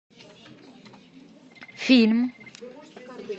фильм